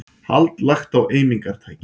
Hald lagt á eimingartæki